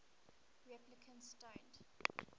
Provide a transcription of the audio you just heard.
replicants don't